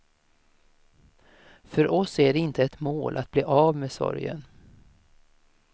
För oss är det inte ett mål att bli av med sorgen.